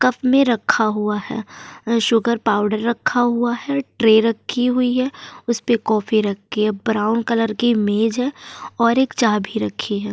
Cup में रखा हुआ है। शुगर पाउडर रखा हुआ है। ट्रे रखी हुई है। उस पे कॉफ़ी रखी है। ब्राउन कलर की एक मेज है और एक चाभी रखी है।